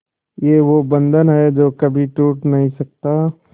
ये वो बंधन है जो कभी टूट नही सकता